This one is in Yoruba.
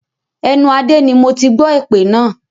Ẹnu Adé ni moti gbọ́ èpè náà